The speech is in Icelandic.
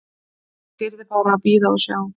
Fólk yrði bara að bíða og sjá.